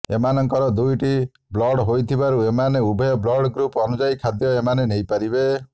ଏମାନଙ୍କର ଦୁଇଟି ବ୍ଲଡ଼ ହୋଇଥିବାରୁ ଏମାନେ ଉଭୟ ବ୍ଲଡ଼ ଗ୍ରୁପ ଅନୁଯାୟୀ ଖାଦ୍ୟ ଏମାନେ ନେଇପାରିବେ